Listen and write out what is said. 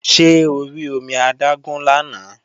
Ṣé o rí omi adágún lánàá?